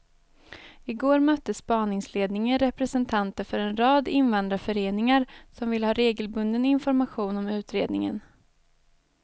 I går mötte spaningsledningen representanter för en rad invandrarföreningar som vill ha regelbunden information om utredningen.